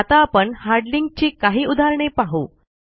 आता आपण hard link ची काही उदाहरणे पाहू